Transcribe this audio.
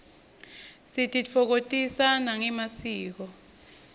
sititfokotisa nangemasiko